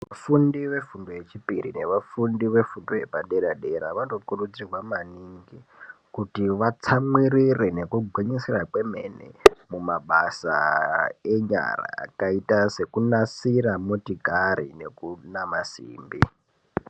Vafundi vefundo yechipiri nevafundi vefundo yepadera dera vanokurudzirwa maningi kuti vatsamwirire nekugwinyisira kwemene mumabasa enyara akaita sekunasira motokari nekunama simbi.